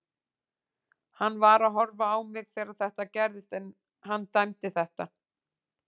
Hann var að horfa á mig þegar þetta gerðist en hann dæmdi þetta.